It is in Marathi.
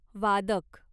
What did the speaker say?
वादक